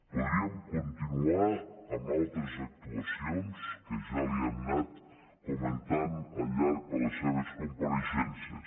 podríem continuar amb altres actuacions que ja li hem anat comentant al llarg de les seves compareixences